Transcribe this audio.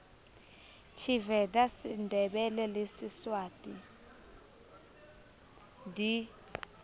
tshiveda sendebele le siswati di